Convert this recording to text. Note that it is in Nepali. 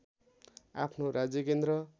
आफ्नो राज्यकेन्द्र